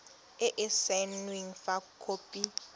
e e saenweng fa khopi